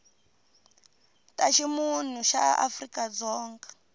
ta ximunhu ya afrika dzonga